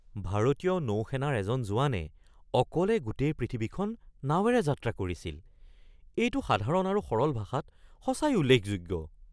ভাৰতীয় নৌ সেনাৰ এজন জোৱানে অকলে গোটেই পৃথিৱীখন নাৱেৰে যাত্ৰা কৰিছিল। এইটো সাধাৰণ আৰু সৰল ভাষাত সঁচাই উল্লেখযোগ্য!